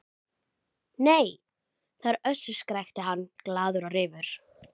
Nei, það er Össur, skrækti hann glaður og reifur.